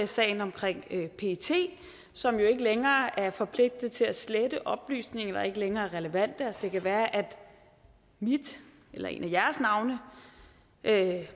sagen omkring pet som jo ikke længere er forpligtet til at slette oplysninger der ikke længere er relevante det kan være at mit eller et af